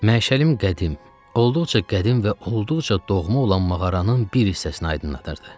Məşəlim qədim, olduqca qədim və olduqca doğma olan mağaranın bir hissəsini aydınlatırdı.